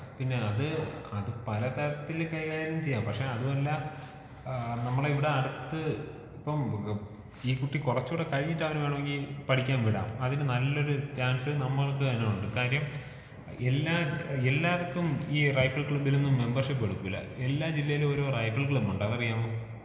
പിന്നെ അത് അത് പല തരത്തില് കൈകാര്യം ചെയ്യാം പക്ഷേ അതുമല്ലാ ഏഹ് നമ്മളെ ഇവിടെ അടുത്ത് ഇപ്പം ഈ കുട്ടി കൊറച്ചും കൂടി കഴിഞ്ഞിട്ട് അവന് വേണെങ്കീ പഠിക്കാൻ വിടാം. അതിന് നല്ലൊരു ചാൻസ് നമ്മൾക്ക് അതിനുണ്ട്.കാര്യം എല്ലാ എല്ലാർക്കും ഈ റൈഫിൾ ക്ലബ്ബിലൊന്നും മെമ്പർഷിപ് എടുക്കൂല്ല. എല്ലാ ജില്ലയിലും ഒരോ റൈഫിൾ ക്ലബ്ബുണ്ട് അതറിയാവോ?